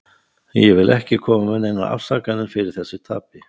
Ég vil ekki koma með neinar afsakanir fyrir þessu tapi.